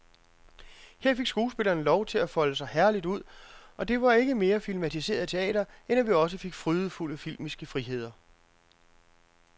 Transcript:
Her fik skuespillerne lov til at folde sig herligt ud, og det var ikke mere filmatiseret teater end, at vi også fik frydefulde filmiske friheder.